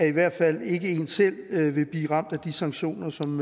i hvert fald ikke en selv vil blive ramt af de sanktioner som